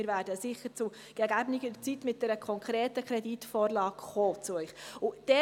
Wir werden sicher zu gegebener Zeit mit einer konkreten Kreditvorlage zu Ihnen kommen.